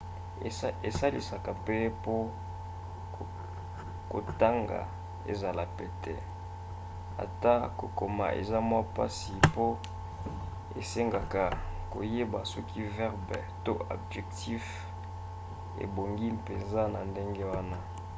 esalisaka mpe mpo kotanga ezala pete ata kokoma eza mwa mpasi mpo esengaka koyeba soki verbe to adjectif ebongi mpenza na ndenge wana